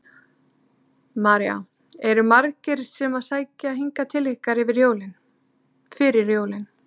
María: Eru margir sem að sækja hingað til ykkar fyrir jólin?